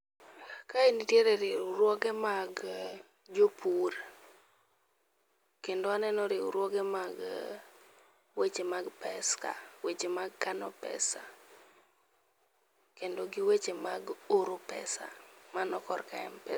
Kae nitiere riwruoge mag jopur kendo aneno riwruoge mag weche mag pesa, weche mag kano pesa kendo gi weche mag oro pesa mano korka Mpesa